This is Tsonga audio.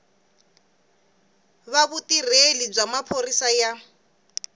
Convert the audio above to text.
va vutirheli bya maphorisa ya